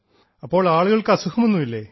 ഇപ്പോൾ ആളുകൾക്ക് അസുഖമൊന്നുമില്ലേ